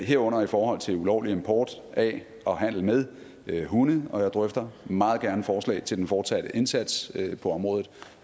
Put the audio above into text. herunder i forhold til ulovlig import af og handel med hunde og jeg drøfter meget gerne forslag til den fortsatte indsats på området